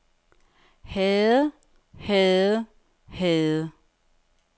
havde havde havde